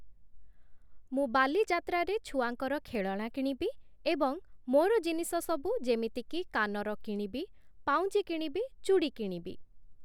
ମୁଁ ବାଲିଯାତ୍ରାରେ ଛୁଆଙ୍କର ଖେଳଣା କିଣିବି ଏବଂ ମୋର ଜିନିଷସବୁ ଯେମିତିକି କାନର କିଣିବି, ପାଉଁଜି କିଣିବି, ଚୁଡ଼ି କିଣିବି ।